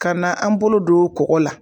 Ka na an bolo don kɔgɔ la.